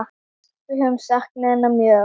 Við höfum saknað hennar mjög.